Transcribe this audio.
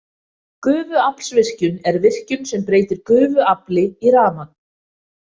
Gufuaflsvirkjun er virkjun sem breytir gufuafli í rafmagn.